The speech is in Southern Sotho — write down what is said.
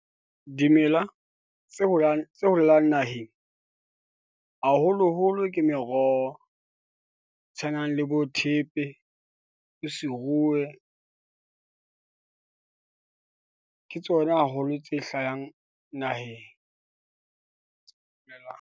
Dimela tse holang tse holang naheng haholoholo ke meroho e tshwanang le bo thepe, se rue . Ke tsona haholo tse hlahang naheng .